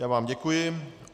Já vám děkuji.